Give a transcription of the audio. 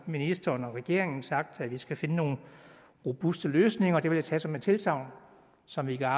ministeren og regeringen har sagt vi skal finde nogle robuste løsninger det vil jeg tage som et tilsagn som vi kan